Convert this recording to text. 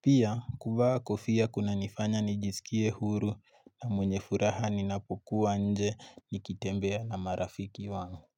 Pia kuvaa kofia kunanifanya nijisikie huru na mwenye furaha ninapokuwa nje nikitembea na marafiki wangu.